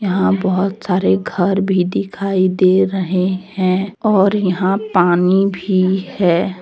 यहां बहुत सारे घर भी दिखाई दे रहे है और यहां पानी भी है।